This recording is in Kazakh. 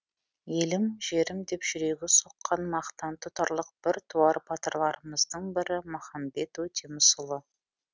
елім жерім деп жүрегі соққан мақтан тұтарлық біртуар батырларымыздың бірі махамбет өтемісұлы